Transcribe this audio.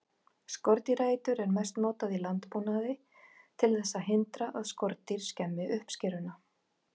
Skordýraeitur er mest notað í landbúnaði til þess að hindra að skordýr skemmi uppskeruna.